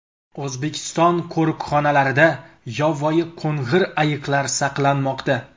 O‘zbekiston qo‘riqxonalarida yovvoyi qo‘ng‘ir ayiqlar saqlanmoqda.